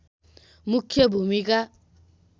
मुख्य भूमिका